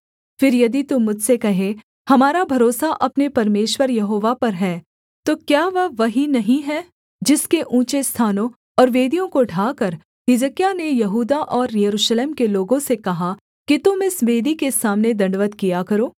फिर यदि तू मुझसे कहे हमारा भरोसा अपने परमेश्वर यहोवा पर है तो क्या वह वही नहीं है जिसके ऊँचे स्थानों और वेदियों को ढाकर हिजकिय्याह ने यहूदा और यरूशलेम के लोगों से कहा कि तुम इस वेदी के सामने दण्डवत् किया करो